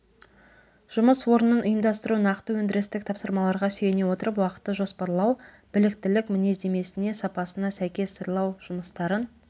жұмыс орнын ұйымдастыру нақты өндірістік тапсырмаларға сүйене отырып уақытты жоспарлау біліктілік мінездемесіне сапасына сәйкес сырлау жұмыстарын